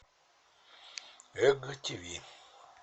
эг тиви